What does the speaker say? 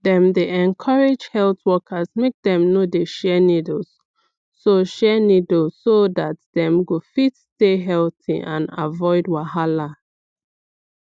dem dey encourage health workers make dem no dey share needle so share needle so dat dem go fit stay healthy and avoid wahala